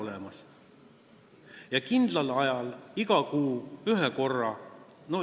Ja seda kindlal ajal, iga kuu ühe korra.